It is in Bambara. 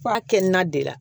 F'a kɛ ni na de la